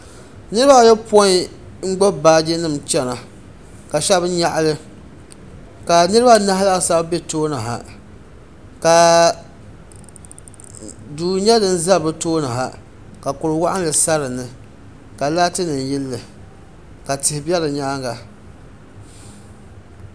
niriba ayɔpɔi n-gbubi baaji nima chana ka shɛba nyaɣi li ka niriba anahi laasabu be tooni ha ka duu nyɛ din za bɛ tooni ha ka kur' wɔɣinli sa dini ka laatinima yeli li ka tihi be di nyaaga.